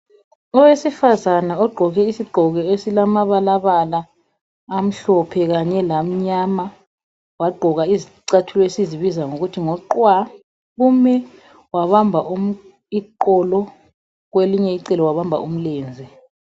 Owesifazana ogqoke isigqoko esilamabalabala amhlophe kanye lamnyama wagqoka izicathulo esizibiza sisithi ngamaqwa wabamba iqolo kwelinye icele wabamba umlenze